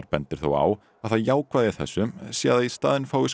bendir þó á að það jákvæða í þessu sé að í staðinn fái